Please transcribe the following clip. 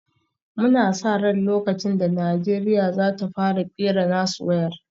Muna sa ran lokacin da Najeriya za ta fara kera nasu wayar